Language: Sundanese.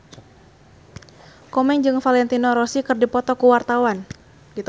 Komeng jeung Valentino Rossi keur dipoto ku wartawan